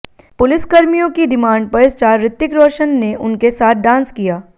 पुलिसकर्मियों की डिमांड पर स्टार ऋतिक रोशन ने उनके साथ डांस किया